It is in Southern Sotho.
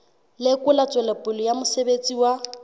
lekola tswelopele ya mosebetsi wa